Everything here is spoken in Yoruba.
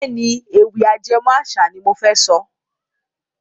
Bẹ́ẹ̀ni, Ewì ajẹmó àṣà ni mofẹ sọ.